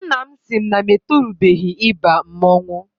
Nna m sị na m etorubeghị ịba mmọnwụ.